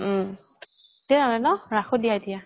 উম দে আৰু ন ৰাখো দিয়া এতিয়া।